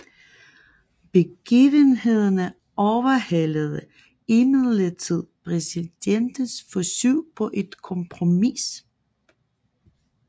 Begivenhederne overhalede imidlertid præsidentens forsøg på et kompromis